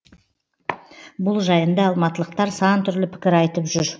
бұл жайында алматылықтар сантүрлі пікір айтып жүр